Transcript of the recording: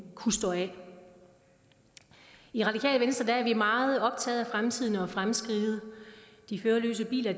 kunne stå af i radikale venstre er vi meget optaget af fremtiden og fremskridtet de førerløse biler